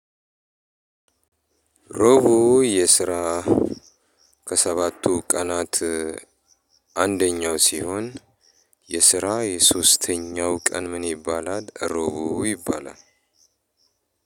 ሩቡ የስራ ከሰባቱ ቀናት አንደኛው ሲሆን የስራ የሶስተኛው ቀን ምን ይባላል? ሮቡ ይባላል።